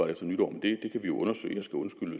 efter nytår men det kan vi undersøge